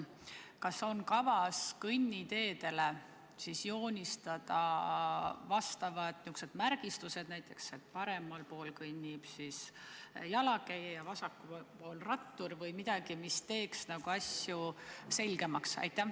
Kas on kavas kõnniteedele joonistada märgistused näiteks, et paremal pool kõnnib jalakäija ja vasakul on rattur, või midagi, mis teeks asju selgemaks?